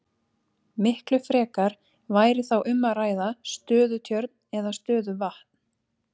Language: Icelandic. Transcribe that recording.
Miklu frekar væri þá um að ræða stöðutjörn eða stöðuvatn.